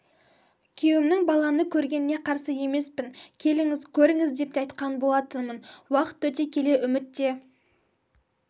күйеуімнің баланы көргеніне қарсы емеспін келіңіз көріңіз деп те айтқан болатынмын уақыт өте келе үміт те